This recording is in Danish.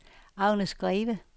Agnes Greve